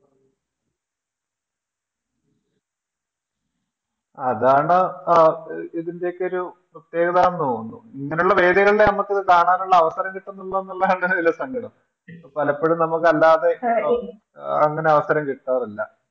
അതാണ് ആ ഇതിൻറെയൊക്കെ ഒരു പ്രത്യേകതാന്ന് തോന്നുന്നു ഇങ്ങനെയുള്ളൊരു വേദികളിലാണ് നമ്മക്കിത് കാണാനുള്ളൊരു അവസരം കിട്ടുന്നുള്ളുന്നുള്ളതാണ് ഇതിലെ സങ്കടം പലപ്പോഴും നമക്കല്ലാതെ അഹ് അങ്ങനെ അവസരം കിട്ടാറില്ല